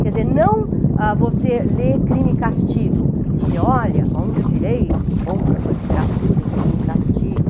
Quer dizer, não ah, você ler crime e castigo e dizer, olha, a onde o direito encontra com a literatura em crime e castigo.